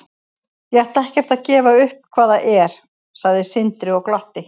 Ég ætla ekkert að gefa upp hvað það er, sagði Sindri og glotti.